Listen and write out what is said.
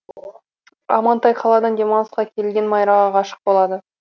амантай қаладан демалысқа келген майраға ғашық болады